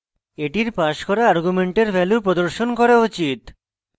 এটির passed করা argument value প্রদর্শন করা উচিত